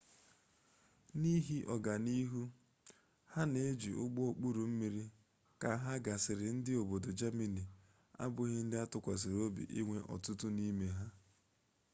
n'ihi ọga n'ihu ha n'iji ụgbọ okpuru mmiri ka agha gasịrị ndị obodo jamani abụghị ndị atụkwasịrị obi inwe ọtụtụ n'ime ha